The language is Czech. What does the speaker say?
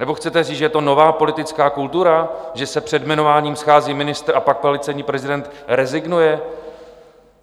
Nebo chcete říct, že je to nová politická kultura, že se před jmenováním schází ministr a pak policejní prezident rezignuje?